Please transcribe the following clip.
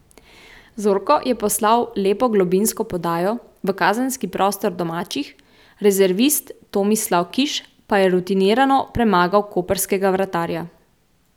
Zorko je poslal lepo globinsko podajo v kazenski prostor domačih, rezervist Tomislav Kiš pa je rutinirano premagal koprskega vratarja.